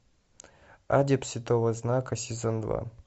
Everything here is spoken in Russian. адепт святого знака сезон два